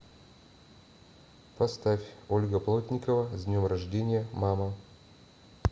поставь ольга плотникова с днем рождения мама